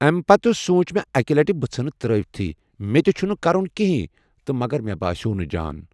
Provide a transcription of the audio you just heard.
اَمہِ پَتہٕ سوٗنٛچ مےٚ اَکہِ لَٹہِ بہٕ ژھٕنہٕ ترٛٲیتھٕے مےٚ تہِ چُھنہٕ کَرُن کِہنۍ تہٕ مگر مےٚ باسیو نَہ جان